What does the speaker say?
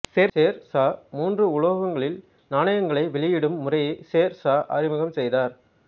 சேர் சா மூன்று உலோகங்களில் நாணயங்களை வெளியிடும் முறையை சேர் சா அறிமுகம் செய்தார்